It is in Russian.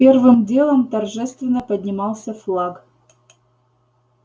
первым делом торжественно поднимался флаг